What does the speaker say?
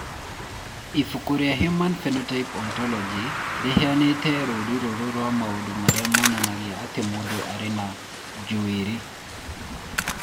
Ibuku rĩa Human Phenotype Ontology rĩheanĩte rũũri rũrũ rwa maũndũ marĩa monanagia atĩ mũndũ arĩ na njuĩrĩ.